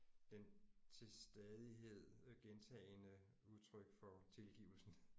Den til stadighed gentagende udtryk for tilgivelsen